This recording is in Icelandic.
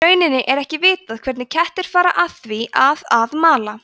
í rauninni er ekki vitað hvernig kettir fara að því að að mala